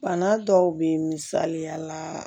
Bana dɔw be ye misaliya la